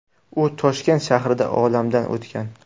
U Toshkent shahrida olamdan o‘tgan.